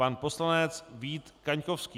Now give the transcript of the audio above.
Pan poslanec Vít Kaňkovský.